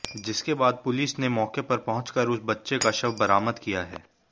जिसके बाद पुलिस ने मौके पर पहुंच कर उस बच्चे का शव बरामद किया है